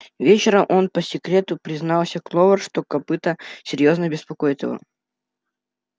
вечером он по секрету признался кловер что копыто серьёзно беспокоит его